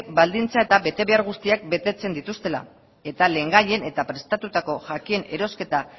baldintza eta betebehar guztiak betetzen dituztela eta lehengaien eta prestatutako jakien erosketa